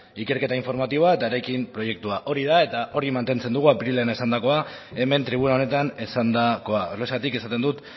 ikerketa informatiboa eta eraikin proiektua hori da eta hori mantentzen dugu apirilean esandakoa hemen tribuna honetan esandakoa horregatik esaten dut